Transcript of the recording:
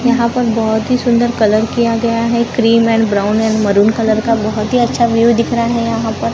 यहां पर बहोत ही सुंदर कलर किया गया है cream and brown and maroon colour का बहोत ही अच्छा व्यू दिख रहा है यहां पर--